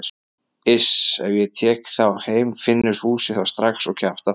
Iss, ef ég tek þá heim finnur Fúsi þá strax og kjaftar frá.